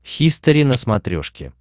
хистори на смотрешке